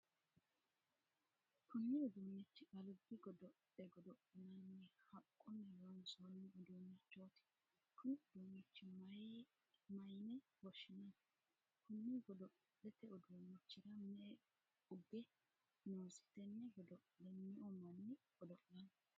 Kunni uduunichi albi godo'le godo'linnanni haqunni loonsoonni uduunichooti kunni uduunicho mayine woshinnanni? Kunni godo'lete uduunichira me"e uge noosi? Tenne godo'le me'u manni godo'lano?